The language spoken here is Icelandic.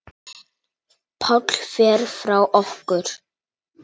Páll fer frá okkur.